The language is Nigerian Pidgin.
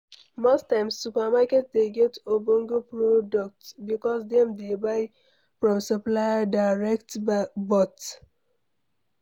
Most times, supermarket dey get ogbonge product because dem dey buy from supplier direct but